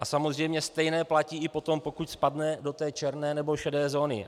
A samozřejmě stejné platí i potom, pokud spadne do té černé nebo šedé zóny.